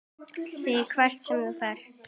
ÞIG HVERT SEM ÞÚ FERÐ.